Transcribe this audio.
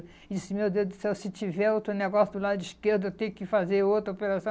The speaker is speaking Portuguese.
E disse, meu Deus do céu, se tiver outro negócio do lado esquerdo, eu tenho que fazer outra operação.